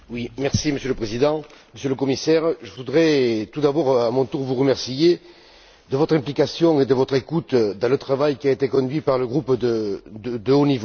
Monsieur le Président, Monsieur le Commissaire, je voudrais tout d'abord à mon tour vous remercier de votre implication et de votre écoute dans le travail qui a été conduit par le groupe à haut niveau.